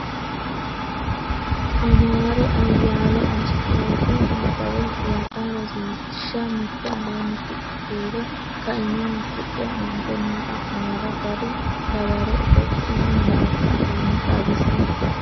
Amaare Ayyaalo Assoote Nabbawe Huwata Rosiishsha Mite Aleenni shiqqu kiiro kaima asidhe aante noo xa’muwara gari dawaro Itiyophiyu malaatu afiinni xawisi.